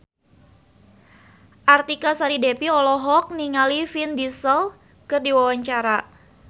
Artika Sari Devi olohok ningali Vin Diesel keur diwawancara